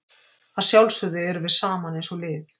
Að sjálfsögðu erum við saman eins og lið.